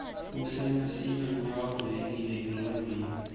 ksenta sibe ngulabavulekile enqcondweni